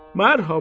Mərhəba.